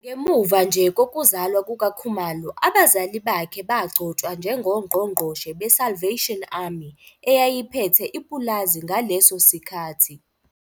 Ngemuva nje kokuzalwa kukaKhumalo abazali bakhe bagcotshwa njengongqongqoshe beSalvation Army, eyayiphethe ipulazi ngaleso sikhathi.